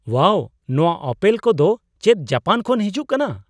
ᱳᱣᱟᱣ! ᱱᱚᱣᱟ ᱟᱯᱮᱞ ᱠᱚᱫᱚ ᱪᱮᱫ ᱡᱟᱯᱟᱱ ᱠᱷᱚᱱ ᱦᱤᱡᱩᱜ ᱠᱟᱱᱟ ?